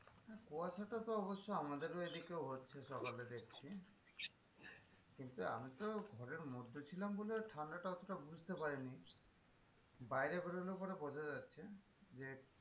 কুয়াশা টা তো অবশ্য আমাদেরও এদিকেও হচ্ছে সকালে দেখছি কিন্তু আমি তো ঘরের মধ্যে ছিলাম বলে ঠান্ডাটা অতোটা বুঝতে পারিনি বাইরে বেরোলে পরে বোঝাযাচ্ছে যে,